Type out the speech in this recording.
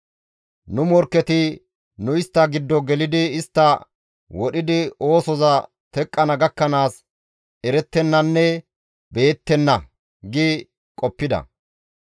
Nu morkketi, «Nu istta giddo gelidi istta wodhidi oosoza teqqana gakkanaas erettennanne beyettenna» gi qoppida.